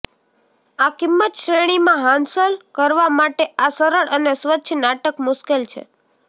આ કિંમત શ્રેણી માં હાંસલ કરવા માટે આ સરળ અને સ્વચ્છ નાટક મુશ્કેલ છે